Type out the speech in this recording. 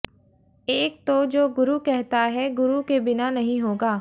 एक तो जो गुरु कहता है गुरु के बिना नहीं होगा